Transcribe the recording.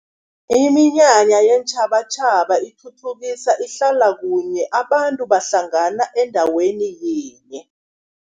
Iminyanya yeentjhabatjhaba ithuthukisa ihlala kunye, abantu bahlangana endaweni yinye.